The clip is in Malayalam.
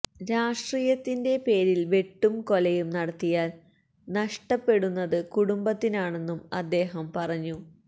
രാഷ്ട്രീയത്തിന്റെ പേരില് വെട്ടും കൊലയും നടത്തിയാല് നഷ്ടപ്പെടുന്നത് കുടുംബത്തിനാണെന്നും അദ്ദേഹം പറഞ്ഞു